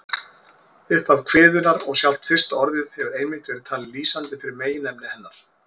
Upphaf kviðunnar og sjálft fyrsta orðið hefur einmitt verið talið lýsandi fyrir meginefni hennar.